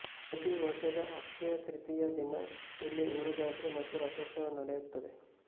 ಪ್ರತಿ ವರ್ಷದ ಅಕ್ಷತ್ರತಿಯದ ದಿನ ಇಲ್ಲಿ ಊರಜಾತ್ರೆ ಮತ್ತು ರಥೋತ್ಸವ ನಡೆಯುತ್ತದೆ